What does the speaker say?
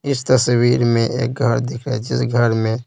इस तस्वीर में एक घर दिख रहा है जिस घर में--